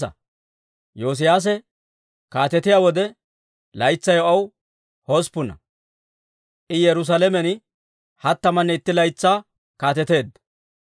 Yoosiyaase kaatetiyaa wode, laytsay aw hosppuna; I Yerusaalamen hattamanne itti laytsaa kaateteedda.